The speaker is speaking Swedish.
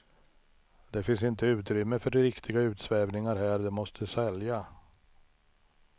Det finns inte utrymme för riktiga utsvävningar här, det måste sälja.